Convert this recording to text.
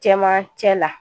Cɛmancɛ la